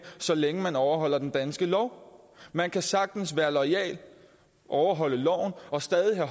så længe man overholder den danske lov man kan sagtens være loyal overholde loven og stadig have